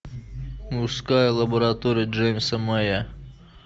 мужская лаборатория джеймса мэя